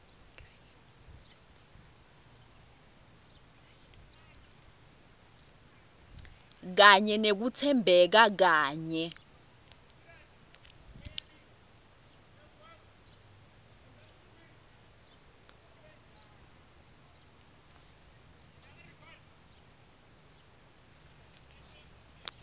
kanye nekutsembeka kanye